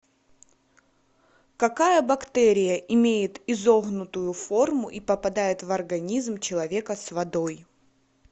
какая бактерия имеет изогнутую форму и попадает в организм человека с водой